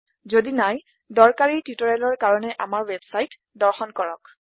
যদি নাই দৰকাৰি টিউটৰিয়েলৰ কাৰণে আমাৰ ৱেবছাইট httpspoken tutorialorg দৰ্শন কৰক